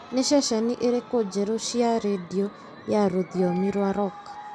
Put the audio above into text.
nĩ ceceni irĩkũ njerũ cia rĩndiũ ya rũthiomi rwa rock